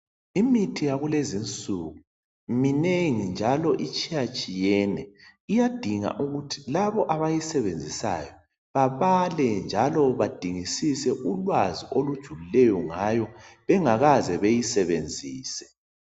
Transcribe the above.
imithi yakulezinsuku minengi njalo itshiyatshiyene iyadinga ukuthi labo abayisebenzisayo babale njalo badingsise ulwazi olujulileyo ngayo bengakaze bayisebenzise